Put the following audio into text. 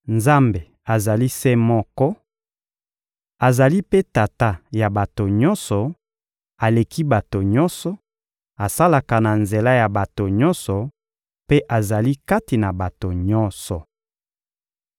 Nzambe azali se moko, azali mpe Tata ya bato nyonso; aleki bato nyonso, asalaka na nzela ya bato nyonso mpe azali kati na bato nyonso.